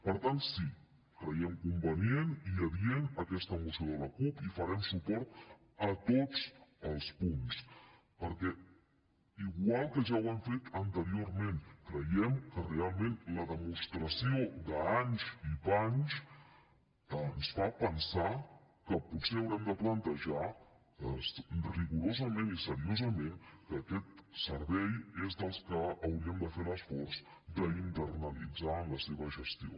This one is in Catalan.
per tant sí creiem convenient i adient aquesta moció de la cup i farem suport a tots els punts perquè igual que ja ho hem fet anteriorment creiem que realment la demostració d’anys i panys ens fa pensar que potser haurem de plantejar rigorosament i seriosament que aquest servei és dels que hauríem de fer l’esforç d’internalitzar en la seva gestió